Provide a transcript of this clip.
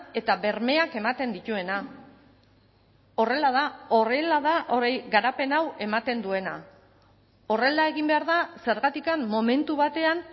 eta bermeak ematen dituena horrela da horrela da hori garapen hau ematen duena horrela egin behar da zergatik momentu batean